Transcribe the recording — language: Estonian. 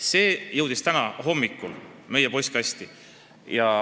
" See jõudis täna hommikul meie postkasti.